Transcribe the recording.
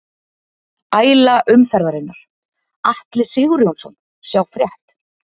Æla umferðarinnar: Atli Sigurjónsson Sjá frétt